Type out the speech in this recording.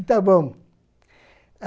Está bom.